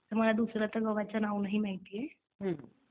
त्यामुळं दुसरं आता गव्हाचं नाव नाही माहित